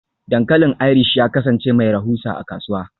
Dankalin Irish ya kasance mai rahusa a kasuwa.